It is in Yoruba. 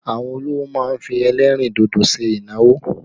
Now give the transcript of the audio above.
Àwọn olówò má ń fi ẹlẹ́rìn dodo ṣe ìnáwó